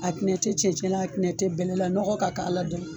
A tinɛ te cɛncɛn la a tinɛ bɛlɛla nɔgɔ ka k'a la dɔrɔn